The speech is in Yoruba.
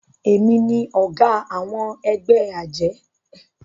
èmi ní oga àwọn egbé ajé